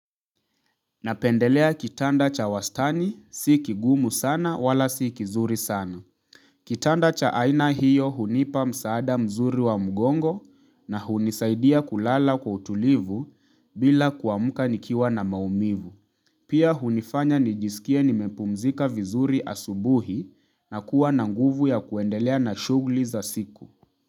Napendelea kitanda cha wastani, si kigumu sana wala si kizuri sana. Kitanda cha aina hiyo hunipa msaada mzuri wa mgongo na hunisaidia kulala kwa utulivu bila kuamka nikiwa na maumivu. Pia hunifanya nijisikie nimepumzika vizuri asubuhi na kuwa na nguvu ya kuendelea na shughuli za siku.